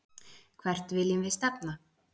Hvert viljum við stefna?